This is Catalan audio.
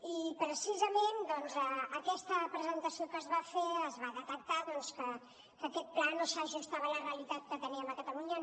i precisament en aquesta presentació que es va fer es va detectar que aquest pla no s’ajustava a la realitat que teníem a catalunya